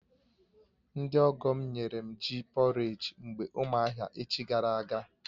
Ndị ọgọ̀ m nyere m ji pọréj mgbe ụmụahia echi gara aga